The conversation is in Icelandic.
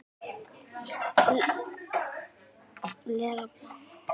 lega planað þetta vel.